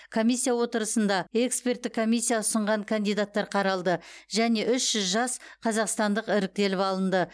комиссия отырысында эксперттік комиссия ұсынған кандидаттар қаралды және үш жүз жас қазақстандық іріктеліп алынды